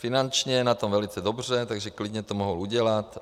Finančně je na tom velice dobře, takže klidně to mohl udělat.